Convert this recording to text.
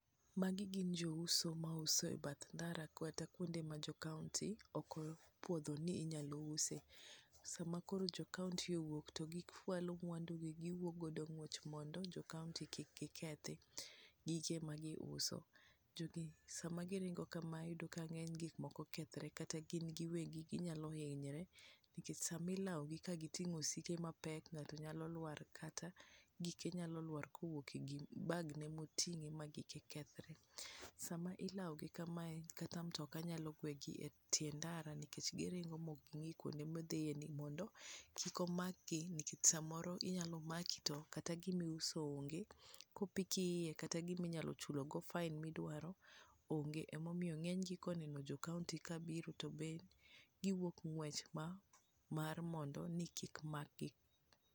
Magi gin jo uso ma uso e bath ndara kata kuonde ma jo county ok opuodho ni inyalo use ,sama koro jo county owuok to gi fwalo mwandu gi wuok godo ngwech mondo jo county kik kethi gige gi ma gi uso, sma gi ringo kama gik mang'eny nyalo kethore kata gin giwegi ginyalo hinyore, nikech samo lawo gi ka gi ting'o osike mapek ng'ato nyalo lwar kata gike nyalo lwar kowuok e bagne motinge ma gike kethre ,sama ilawo gi kamae kata mtoka nyalo gwe gi e tie ndara nikech giringo ma ok gi ngi kuonde midhiye ni mondo kik omak gi nikech samoro nomaki to kata gima iuso ong'e ,kopiki iye kata gima inyalo chulo go fine midwaro ong'e emomiyo ng'eny gi koneno jo county ka biro to giwuok ng'wech mar mondo ni kik mak gi.